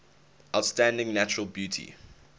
outstanding natural beauty